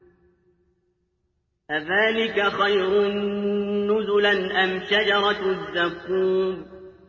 أَذَٰلِكَ خَيْرٌ نُّزُلًا أَمْ شَجَرَةُ الزَّقُّومِ